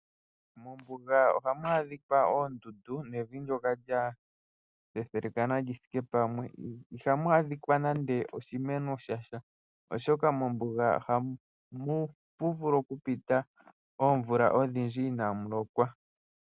Mombuga ohamu adhikwa oondundu nevi ndyoka lya thethelekana lyithike pamwe. Ihamu adhikwa nande oshimeno shasha. Oshoka mombuga ohamu vulu okupita oomvula odhindji inaamu lokwa.